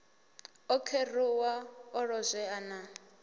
o kheruwa o lozwea na